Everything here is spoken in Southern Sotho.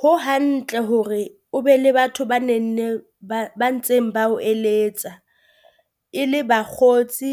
Ho hantle hore o be le batho ba ne nneng ba ba ntseng ba o eletsa e le bakgotsi